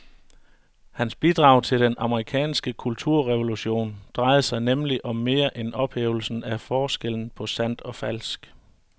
Hans bidrag til den amerikanske kulturrevolution drejede sig nemlig om mere end ophævelsen af forskellen på sandt og falsk.